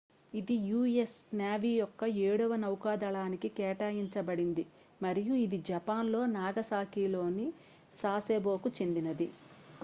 ఇది u.s. navy యొక్క ఏడవ నౌకాదళానికి కేటాయించబడింది మరియు ఇది జపాన్లో నాగసాకిలోని సాసెబోకు చెందినది